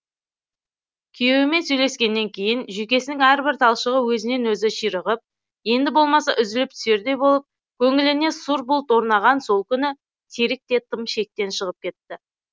күйеуімен сөйлескеннен кейін жүйкесінің әрбір талшығы өзінен өзі ширығып енді болмаса үзіліп түсердей болып көңіліне сұр бұлт орнаған сол күні серік те тым шектен шығып кетті